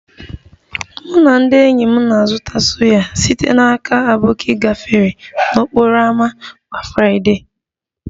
Mụ na ndị enyi m na-azụta suya site na aboki gafee n'okporo ámá kwa Friday